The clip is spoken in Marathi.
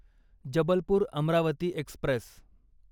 जबलपूर अमरावती एक्स्प्रेस